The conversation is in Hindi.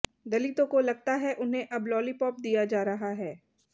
दलितों को लगता है उन्हें अब लॉलीपॉप दिया जा रहा है